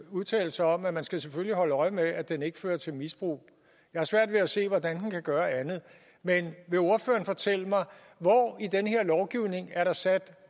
udtalelse om at man selvfølgelig skal holde øje med at den ikke fører til misbrug jeg har svært ved at se hvordan den kan gøre andet men vil ordføreren fortælle mig hvor i den her lovgivning er sat